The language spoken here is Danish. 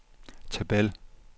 tabel